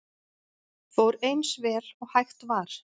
Fór eins vel og hægt var